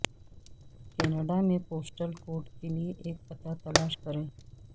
Canada میں postal code کے لئے ایک پتہ تلاش کریں